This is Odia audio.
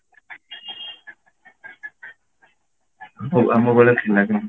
ଆମ ଆମ ବେଳେ ଥିଲା କିନ୍ତୁ